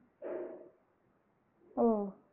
ஓ